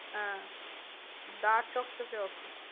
হ্যাঁ দা চকচকে office.